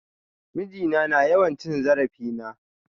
Miji na na yawan cin zarafin na.